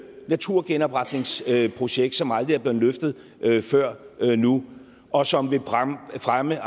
naturgenopretningsprojekt som aldrig er blevet løftet før nu og som vil fremme